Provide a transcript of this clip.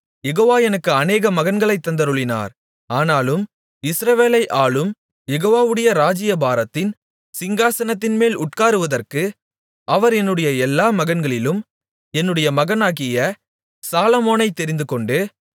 யெகோவா எனக்கு அநேக மகன்களைத் தந்தருளினார் ஆனாலும் இஸ்ரவேலை ஆளும் யெகோவாவுடைய ராஜ்ஜியபாரத்தின் சிங்காசனத்தின்மேல் உட்காருவதற்கு அவர் என்னுடைய எல்லா மகன்களிலும் என்னுடைய மகனாகிய சாலொமோனைத் தெரிந்துகொண்டு